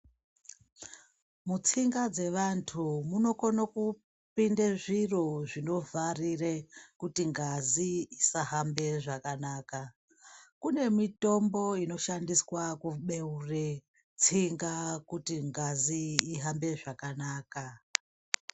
Mutsinga dzevantu munokone kupinde zviro zvinovharire kuti ngazi isahambe zvakanaka kune mitombo inoshandiswa kubeure tsinga kuti ngazi ihambe zvakanaka.